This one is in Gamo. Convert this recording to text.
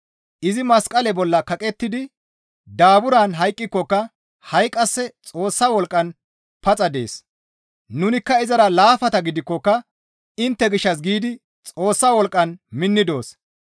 Izi masqale bolla kaqettidi daaburan hayqqikokka ha7i qasse Xoossa wolqqan paxa dees; nunikka izara laafata gidikkoka intte gishshas giidi Xoossa wolqqan minni doos.